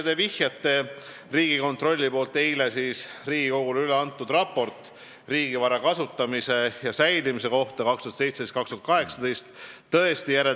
Te vihjate Riigikontrolli eile Riigikogule üleantud ülevaatele riigi vara kasutamisest ja säilimisest 2017.–2018. aastal.